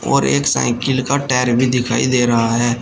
और एक साइकिल का टायर भी दिखाई दे रहा है।